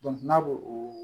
n'a ko